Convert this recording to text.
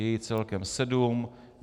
Je jich celkem sedm.